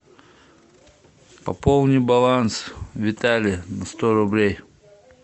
пополни баланс витале на сто рублей